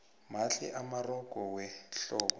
mahle amarogo wehlobo